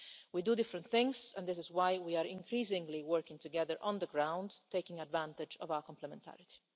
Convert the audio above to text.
We do different things, and this is why we are increasingly working together on the ground, taking advantage of our complementarity.